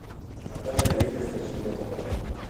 наталья юрьевна семенова